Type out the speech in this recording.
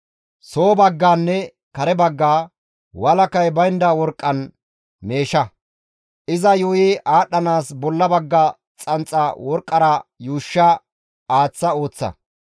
Soo baggaanne kare baggaa walakay baynda worqqan meesha; iza yuuyi aadhdhanaas bolla bagga xanxaa worqqara yuushsha aaththa ooththa.